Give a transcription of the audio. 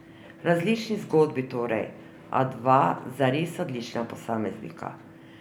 Različni zgodbi torej, a dva zares odlična posameznika.